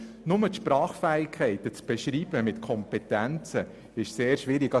Nur schon die Sprachfähigkeit mit Kompetenzen zu beschreiben, ist sehr schwierig.